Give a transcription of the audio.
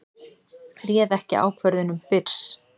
Réð ekki ákvörðunum Byrs